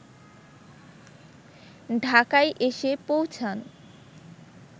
ঢাকায় এসে পৌঁছান